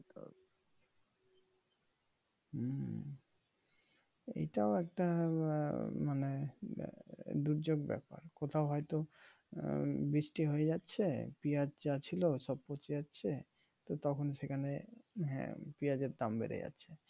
এটাও একটা আহ মানে দুর্যোগ ব্যাপার কোথাও হয়তো উম বৃষ্টি হয়ে যাচ্ছে পিঁয়াজ যা ছিলো সব পচে যাচ্ছে তো তখন সেখানে পেঁয়াজের দাম বেড়ে যাচ্ছে।